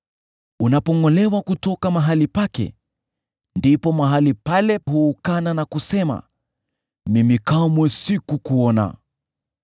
Unapongʼolewa kutoka mahali pake, ndipo mahali pale huukana na kusema, ‘Mimi kamwe sikukuona.’